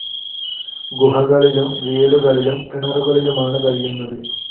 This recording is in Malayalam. ഗുഹകളിലും വീടുകളിലും കിണറുകളിലുമാണ് കഴിയുന്നത്.